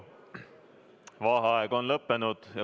Vaheaeg on lõppenud.